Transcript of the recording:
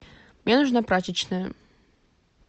мне нужна прачечная